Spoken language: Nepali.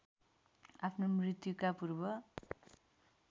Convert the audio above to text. आफ्नो मृत्युका पूर्व